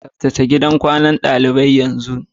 Tsabtace gidan kwanan dalibai yanzu!